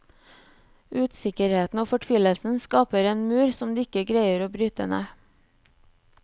Usikkerheten og fortvilelsen skaper en mur som de ikke greier å bryte ned.